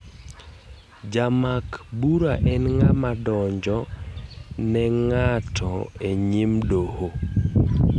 Jamak bura en ngama donjo en ng'ato e nyim doho.